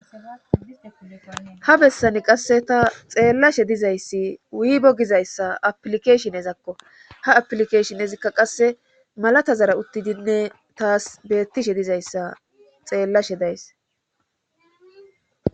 Ha bessani qasse ta xeellashe dizayssi wuibo gizayssa aplikeshinezakko ha aplikeshin ezikka qasse malata zara uttidinne taas beettishe dizayssa xeellashe days.